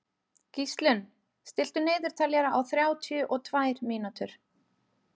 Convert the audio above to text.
Gíslunn, stilltu niðurteljara á þrjátíu og tvær mínútur.